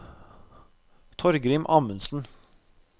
Torgrim Amundsen